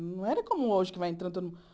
Não era como hoje, que vai entrando todo